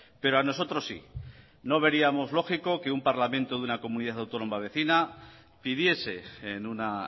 pero a nosotros sí no veríamos lógico que un parlamento de una comunidad autónoma vecina pidiese en una